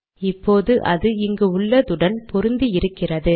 இப்போது அது இங்கு உள்ளதுடன் பொருந்தி இருக்கிறது